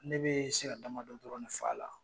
Ne be se ka damadɔ dɔrɔn de fɔ a la.